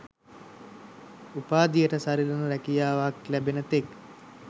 උපාධියට සරිලන රැකියාවක් ලැබෙන තෙක්